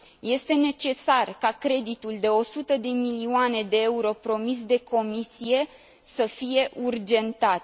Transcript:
Este necesar ca creditul de 100 de milioane de euro promis de Comisie să fie urgentat.